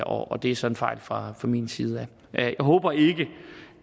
og det er så en fejl fra min side jeg håber ikke